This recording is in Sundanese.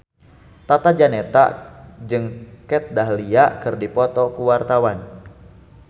Tata Janeta jeung Kat Dahlia keur dipoto ku wartawan